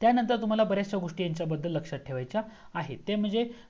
त्यानंतर तुम्हाला बरचशया गोस्टी यांच्या बद्दल लक्ष्यात ठेवायच्या आहेत ते म्हणजे